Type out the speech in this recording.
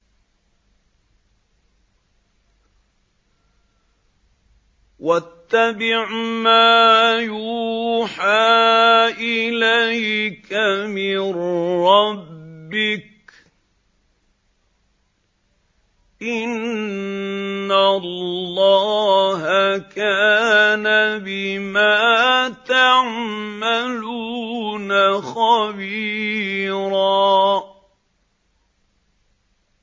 وَاتَّبِعْ مَا يُوحَىٰ إِلَيْكَ مِن رَّبِّكَ ۚ إِنَّ اللَّهَ كَانَ بِمَا تَعْمَلُونَ خَبِيرًا